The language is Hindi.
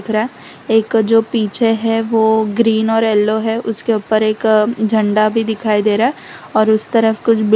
रहा एक जो पीछे है वो ग्रीन और येलो है उसके ऊपर एक झंडा भी दिखाई दे रहा है और उसे तरफ कुछ --